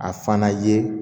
A fana ye